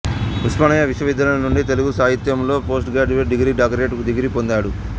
ఉస్మానియా విశ్వవిద్యాలయము నుండి తెలుగు సాహిత్యములో పోస్టుగ్రాడ్యుయేట్ డిగ్రీ డాక్టరేటు డిగ్రీ పొందాడు